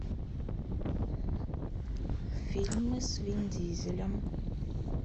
фильмы с вин дизелем